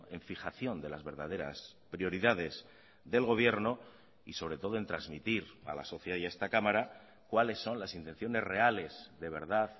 en fijación de las verdaderas prioridades del gobierno y sobre todo en transmitir a la sociedad y a esta cámara cuáles son las intenciones reales de verdad